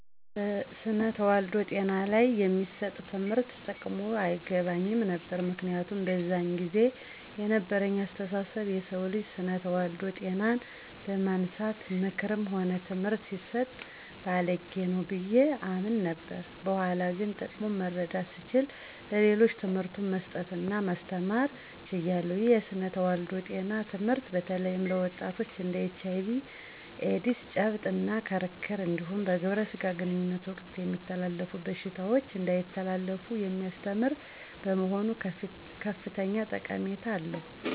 ስነ ተዋልዶ ጤና ላይ የሚሰጥ ትምህርት ጥቅሙ አይገባኝም ነበር። ምክንያቱም በዛን ጊዜ የነበረኝ አስተሳሰብ የሰው ልጅ ስነ ተዋልዶ ጤናን በማንሳት ምክርም ሆነ ትምህርት ሲሰጥ ባልጌ ነው ብዬ አምን ነበር። በኋላ ግን ጥቅሙ መረዳት ስችል ለሌሎችም ትምህርቱን መስጠት እና ማስተማር ችያለሁ። ይህ የስነ ተዋልዶ ጤና ትምህርት በተለይም ለወጣቶች እንድ ኤች አይ ቪ ኤዲስ፤ ጨብጥ እና ክርክር እንዲሁም በግብረ ስጋ ግንኙነት ወቅት የሚተላለፉ በሽታዎች እንዳይተላለፉ የሚያስተምር በመሆኑ ከፍተኛ ጠቀሜታ አለው።